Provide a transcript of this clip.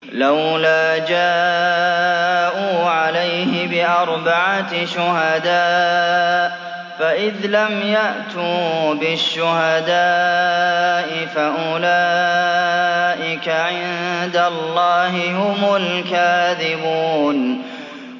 لَّوْلَا جَاءُوا عَلَيْهِ بِأَرْبَعَةِ شُهَدَاءَ ۚ فَإِذْ لَمْ يَأْتُوا بِالشُّهَدَاءِ فَأُولَٰئِكَ عِندَ اللَّهِ هُمُ الْكَاذِبُونَ